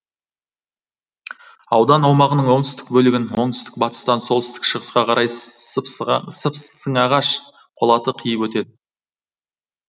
аудан аумағының оңтүстік бөлігін оңтүстік батыстан солтүстік шығысқа қарай сыпсыңағаш қолаты қиып өтеді